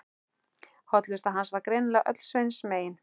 Hollusta hans var greinilega öll Sveins megin.